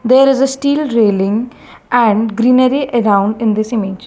there is a steel railing and greenery around in this image.